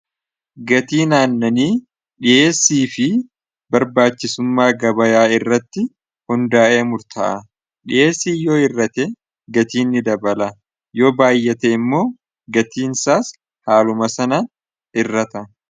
gatii naannanii dhiheessii fi barbaachisummaa gabayaa irratti hundaa'ee murta'a dhiheessii yoo irrate gatiinni dabala yoo baayyate immoo gatiin isaas haaluma sana irrata